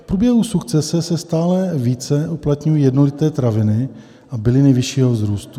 V průběhu sukcese se stále více uplatňují jednoleté traviny a byliny vyššího vzrůstu.